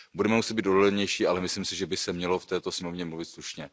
Budeme muset být odolnější, ale myslím si, že by se mělo v této sněmovně mluvit slušně.